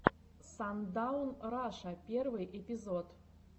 сандаун раша первый эпизод